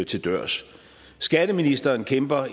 til dørs skatteministeren kæmper